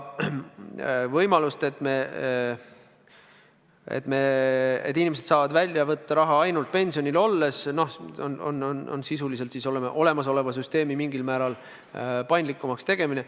Võimalus, et inimesed saavad välja võtta raha ainult pensionil olles – noh, see on sisuliselt olemasoleva süsteemi mingil määral paindlikumaks tegemine.